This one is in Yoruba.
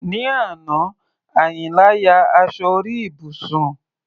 Ní àná, Àyìnlá ya aṣọ orí ibùsùn.